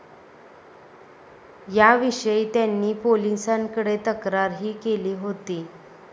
याविषयी त्यांनी पोलिसांकडे तक्रारही केली होती.